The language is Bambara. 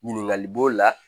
Ɲininkali b'o la